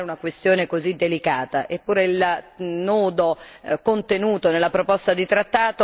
Eppure, il nodo contenuto nella proposta di trattato ancora non si è sciolto.